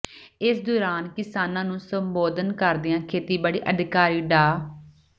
ਇਸ ਦੌਰਾਨ ਕਿਸਾਨਾਂ ਨੂੰ ਸੰਬੋਧਨ ਕਰਦਿਆਂ ਖੇਤੀਬਾੜੀ ਅਧਿਕਾਰੀ ਡਾ